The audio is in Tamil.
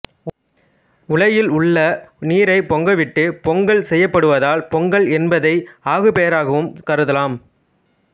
உலையில் உள்ள நீரைப் பொங்கவிட்டுப் பொங்கல் செய்யப்படுவதால் பொங்கல் என்பதை ஆகு பெயராகவும் கருதலாம்